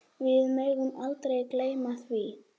Við megum aldrei gleyma því.